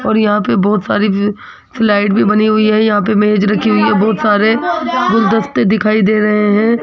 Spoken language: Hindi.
और यहां पे बहुत सारी फ्लाइट भी बनी हुई है यहां पे मेज रखी हुई है बहुत सारे गुलदस्ते दिखाई दे रहे हैं।